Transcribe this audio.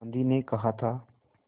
गांधी ने कहा था